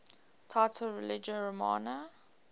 title religio romana